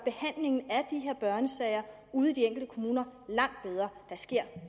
børnesager ude i de enkelte kommuner langt bedre der sker